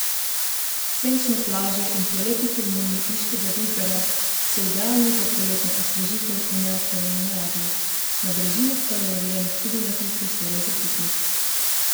Senčne plaže in prelepi tolmuni Iškega Vintgarja so idealni za poletno osvežitev v neokrnjeni naravi, na brežinah pa je urejenih tudi nekaj prostorov za piknik.